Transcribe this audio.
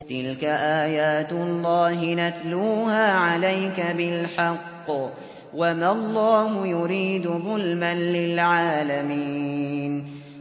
تِلْكَ آيَاتُ اللَّهِ نَتْلُوهَا عَلَيْكَ بِالْحَقِّ ۗ وَمَا اللَّهُ يُرِيدُ ظُلْمًا لِّلْعَالَمِينَ